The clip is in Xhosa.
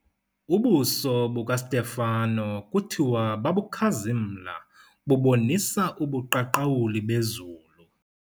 Ubuso bukaSitefani kuthiwa babukhazimla bubonisa ubuqhaqhawuli bezulu.